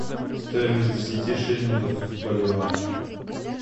стоимость десяти шиллингов в боливар